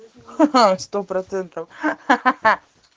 хи-хи сто процентов хи-хи